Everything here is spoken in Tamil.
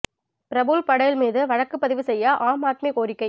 பிரபுல் படேல் மீது வழக்கு பதிவு செய்ய ஆம் ஆத்மி கோரிக்கை